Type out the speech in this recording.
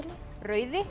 rauði